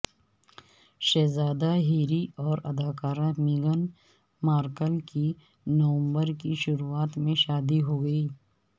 شہزادہ ہیری اور اداکارہ میگن مارکل کی نومبر کی شروعات میں شادی ہو گی